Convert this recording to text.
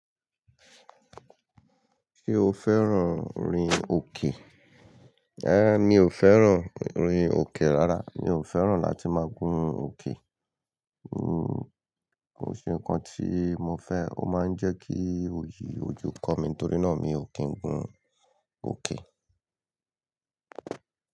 Ṣé o fẹ́ràn rin òkè? Ehn, mi ò fẹ́ràn rin òkè rárá. Mi ò fẹ́ràn láti máa gún òkè. N, kò se nǹkan tí mo fẹ́. Ó máa ń jẹ́ kí oyì ojú kọ mí nítorí náà mi ò kí ń gún òkè.